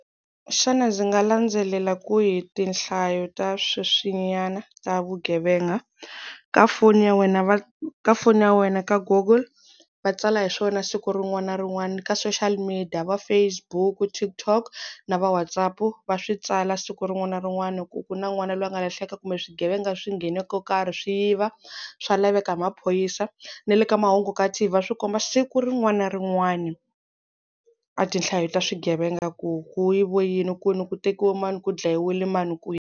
Xana ndzi nga landzelela kwihi tinhlayo ta sweswinyana ta vugevenga? Ka foni ya wena ka foni ya wena ka google va tsala hi swona siku rin'wana na rin'wana. Ka social media, va Facebook, TikTok na va WhatsApp va swi tsala siku rin'wana na rin'wana ku ku na n'wana loyi a nga lahleka kumbe swigevenga swi nghene ko karhi swi yiva swa laveka hi maphorisa. Na le ka mahungu ka T_V va swi komba siku rin'wana na rin'wana, a tinhlayo ta swigevenga ku ku yiviwe yini kwini, ku tekiwa mani ku dlayiwile mani kwihi.